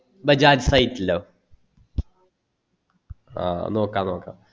bajajsite ലോ ആ നോക്കാം നോക്കാം